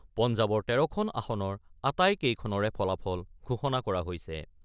পঞ্জাৱৰ ১৩খন আসনৰ আটাইকেইখনৰে ফলাফল ঘোষণা কৰা হৈছে।